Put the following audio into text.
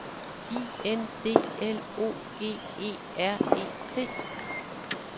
I N D L O G E R E T